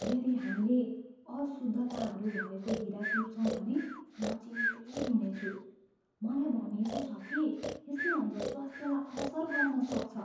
यदि हामीले अशुद्धताहरू भएको हिरा टिप्छौँ भने म चिन्तित हुनेछु। मलाई भनिएको छ कि यसले हाम्रो स्वास्थ्यलाई असर गर्न सक्छ।